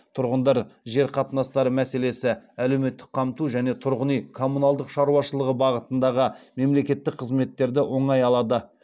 тұрғындар жер қатынастары мәселесі әлеуметтік қамту және тұрғын үй коммуналдық шаруашылығы бағытындағы мемлекететтік қызметтерді оңай алады